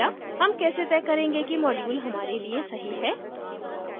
how कैसे तय करेंगे कि module हमारे लिए सही है